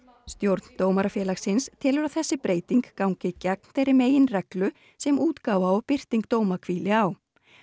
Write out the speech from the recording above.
stjórn Dómarafélagsins telur að þessi breyting gangi gegn þeirri meginreglu sem útgáfa og birting dóma hvíli á